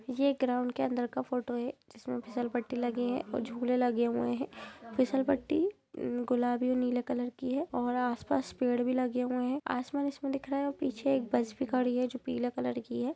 यह एक ग्राउंड के अंदर का फोटो है जिसमें फिशल पट्टी लगी है और झूले लगे हुए हैं फिशल पट्टी गुलाबी नीले कलर की है और आस-पास पेड़ भी लगे हुए हैं आसमान इसमें दिख रहा है और पीछे एक बस भी खड़ी है जो पीले कॉलर की है।